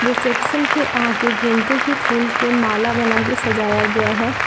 Reception के आगे गेंदे के फूल के माला बना के सजाया गया है।